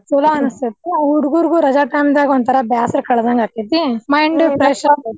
ಚುಲೋ ಅನ್ಸುತ್ತೆ ಹುಡಗುರ್ಗು ರಜಾ time ನ್ಯಾಗ್ ಒಂಥರಾ ಬ್ಯಾಸರಾ ಕಳದಂಗ ಆಗ್ತೇತಿ mind fresh .